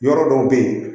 Yɔrɔ dɔw bɛ yen